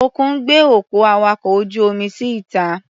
Òkun gbé òkú awakọ̀ ojú-omi sí ìta.